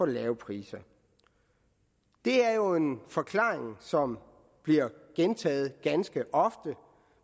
lave priser det er jo en forklaring som bliver gentaget ganske ofte